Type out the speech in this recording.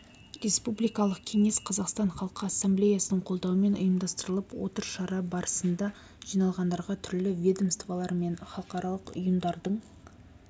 республикалық кеңес қазақстан халқы ассамблеясының қолдауымен ұйымдастырылып отыр шара барысында жиналғандарға түрлі ведомстволар мен халықаралық ұйымдардың